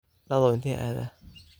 Dadhow inte aadha?